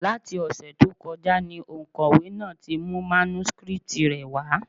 Láti ọ̀sẹ̀ tó kọjá ni òǹkọ̀wé náà ti mú mánúskrítì rẹ̀ wá.